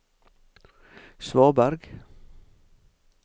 svaberg